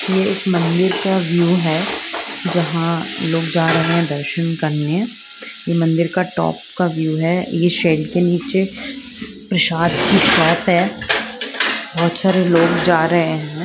यह एक मंदिर का व्यू हैं जहा लोग जा रहे हैं दर्शन करने यह मंदिर का टॉप का व्यू है यह शेड के नीचे प्रशाद की है बहुत सारे लोग जा रहे है।